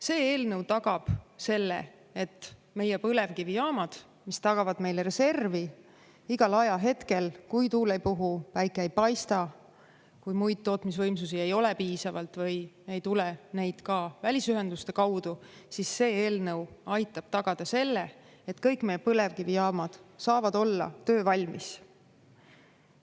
See eelnõu tagab selle, et meie põlevkivijaamad, mis tagavad meile reservi igal ajahetkel, kui tuul ei puhu ja päike ei paista, kui muid tootmisvõimsusi ei ole piisavalt või ei tule neid ka välisühenduste kaudu, siis see eelnõu aitab tagada selle, et kõik me põlevkivijaamad saavad olla töövalmis.